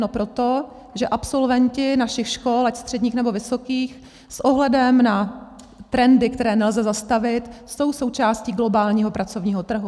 No proto, že absolventi našich škol, ať středních, nebo vysokých, s ohledem na trendy, které nelze zastavit, jsou součástí globálního pracovního trhu.